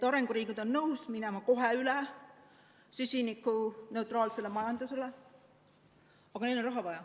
Arenguriigid on nõus minema kohe üle süsinikuneutraalsele majandusele, aga neil on raha vaja.